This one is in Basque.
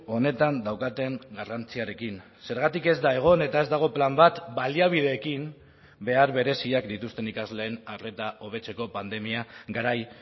honetan daukaten garrantziarekin zergatik ez da egon eta ez dago plan bat baliabideekin behar bereziak dituzten ikasleen arreta hobetzeko pandemia garai